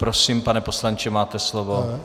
Prosím, pane poslanče, máte slovo.